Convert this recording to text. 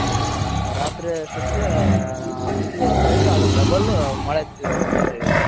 ರಾತ್ರಿ ಅಷ್ಟೊತ್ತಿಗೆ ಬಿಸ್ಲು ಎಷ್ಟ್ ಕಾದಿದ್ಯೋ ಅದರ double ಮಳೆ ಬೀಳ್ತಾ ಇದೆ ಈ ಕಡೆ.